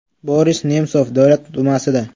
Boris Nemsov Davlat dumasida.